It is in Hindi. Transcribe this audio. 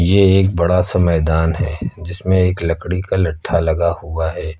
ये एक बड़ा सा मैदान है जिसमें एक लकड़ी का लठा लगा हुआ है।